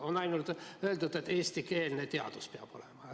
On ainult öeldud, et eestikeelne teadus peab olema.